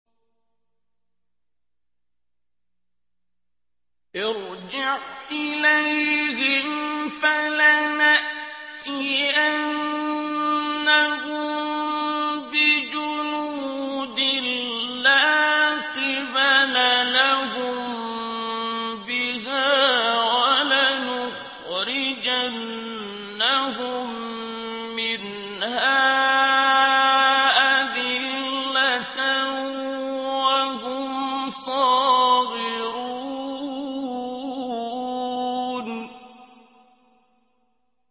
ارْجِعْ إِلَيْهِمْ فَلَنَأْتِيَنَّهُم بِجُنُودٍ لَّا قِبَلَ لَهُم بِهَا وَلَنُخْرِجَنَّهُم مِّنْهَا أَذِلَّةً وَهُمْ صَاغِرُونَ